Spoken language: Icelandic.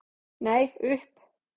Nei, upp.